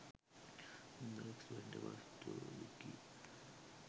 the expendables 2 wiki